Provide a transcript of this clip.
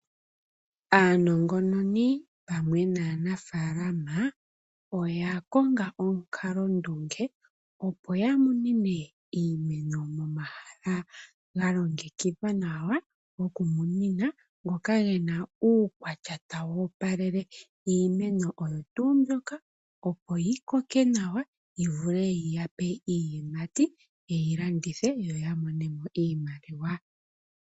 Aanangononi pamwe naanafaalama oya konga omukalondunge opo ya munine iimeno momahala ga longekidhwa nawa gokumunina ngoka ge na uukwatya tawu opalele iimeno oyo tuu mbyoka, opo yi koke nawa, yi vule yi ya pe iiyimati ye yi landithe yo ya mone mo iimaliwa.